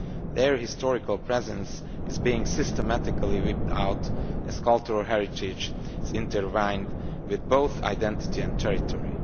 Their historical presence is being systematically wiped out, as cultural heritage is intertwined with both identity and territory.